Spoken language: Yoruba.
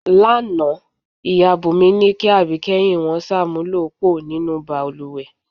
Lánàá, ìyá Búnmí ní kí àbíké̩yìn wo̩n s̩àmúlò póò nínú balùwè.